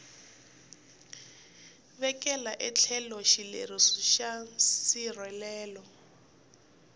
vekela etlhelo xileriso xa nsirhelelo